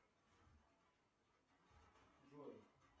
джой